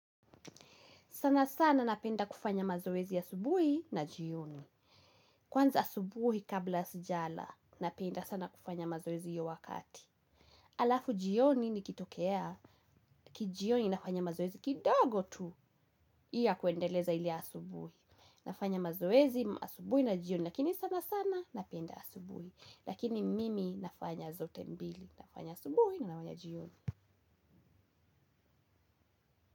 Sana sana napenda kufanya mazoezi ya asubuhi na jioni. Kwanza asubuhi kabla sijala, napenda sana kufanya mazoezi hiyo wakati. Alafu jioni nikitoea kijioni nafanya mazoezi kidogo tu hii ya kuendeleza ile ya asubuhi. Nafanya mazoezi, asubuhi na jioni, lakini sana sana napenda asubuhi. Lakini mimi nafanya zote mbili, nafanya asubuhi na nafanya jioni.